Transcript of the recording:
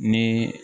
Ni